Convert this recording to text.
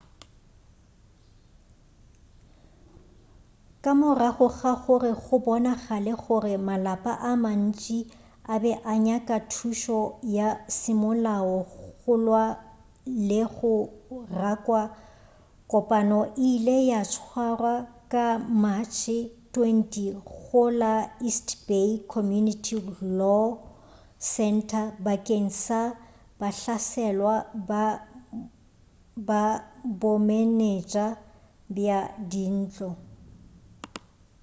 ka morago ga gore go bonagale gore malapa a mantši a be a nyaka thušo ya semolao go lwa le go rakwa kopano e ile ya tswarwa ka matšhe 20 go la east bay community law center bakeng sa bahlaselwa ba bomenetša bja dintlo